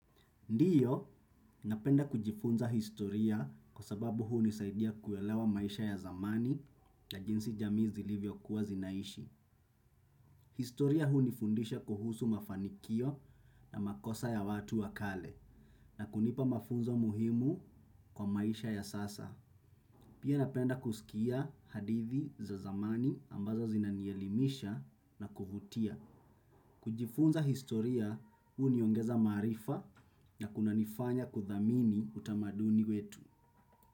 Ndio, napenda kujifunza historia kwa sababu hii hunisaidia kuelewa maisha ya zamani na jinsi jamii zilivyo kuwa zinaishi. Historia hunifundisha kuhusu mafanikio na makosa ya watu wakale na kunipa mafunzo muhimu kwa maisha ya sasa. Pia napenda kusikia hadithi za zamani ambazo zinanielimisha na kuvutia. Kujifunza historia huniongeza maarifa na kunanifanya kudhamini utamaduni wetu.